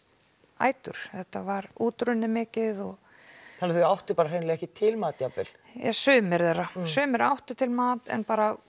ætur þetta var útrunnið mikið þannig að þau áttu hreinlega ekki til mat sumir þeirra sumir áttu til mat en